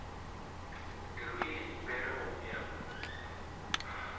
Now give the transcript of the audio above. le ruile dipere gommea mo